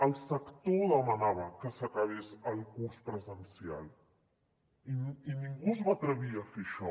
el sector demanava que s’acabés el curs presencialment i ningú es va atrevir a fer això